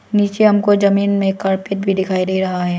नीचे हमको जमीन में कारपेट भी डिखाई डे रहा है।